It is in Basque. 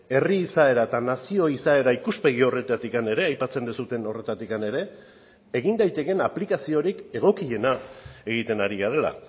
herri izaera eta nazio izaera ikuspegi horretatik ere aipatzen duzuen horretatik ere egin daitekeen aplikaziorik egokiena egiten ari garela